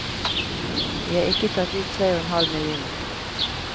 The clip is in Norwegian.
Vi har ikke tatt ut tre og en halv million.